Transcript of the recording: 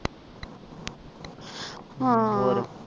ਹਾਂ